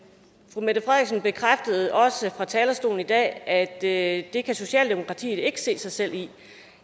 fru mette frederiksen bekræftede også fra talerstolen i dag at det at det kan socialdemokratiet ikke se sig selv i